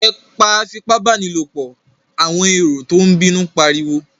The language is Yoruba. Ẹ pa afipábánilòpọ̀! àwọn èrò tó ń bínú ń pariwo.